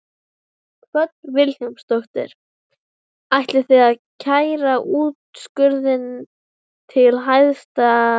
Hödd Vilhjálmsdóttir: Ætlið þið að kæra úrskurðinn til Hæstaréttar?